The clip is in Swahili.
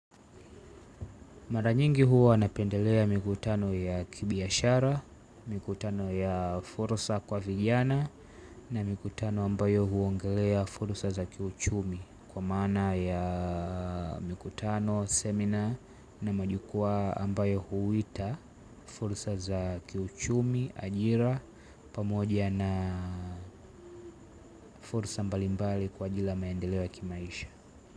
Mara nyingi huwa napendelea mikutano ya kibiashara, mikutano ya fursa kwa vijana na mikutano ambayo huongelea fursa za kiuchumi kwa maana ya mikutano, semina na majukua ambayo huita fursa za kiuchumi, ajira, pamoja na fursa mbalimbali kwa ajili ya maendeleo ya kimaisha.